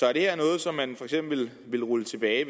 er det her noget som man for eksempel vil rulle tilbage